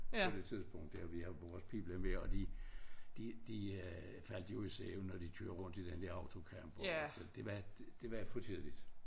På det tidspunkt der vi havde vores pibla med og de de de øh faldt jo i søvn når de kører rundt i den der autocamper og det var det var for tidligt